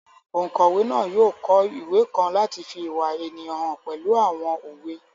Ònkọ̀wé náà yóò kọ ìwé kan láti fi ìwà ènìyàn hàn pẹ̀lú àwọn òwe